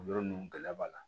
O yɔrɔ ninnu gɛlɛya b'a la